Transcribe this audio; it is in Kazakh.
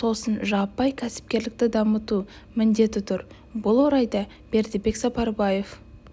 сосын жаппай кәсіпкерлікті дамыту міндеті тұр бұл орайда бердібек сапарбаев